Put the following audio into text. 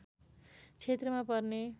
क्षेत्रमा पर्ने